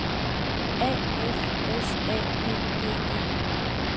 A F S A G D E